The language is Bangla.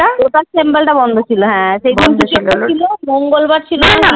Lotus temple টা বন্ধ ছিল সে সব মঙ্গোল বার ছিল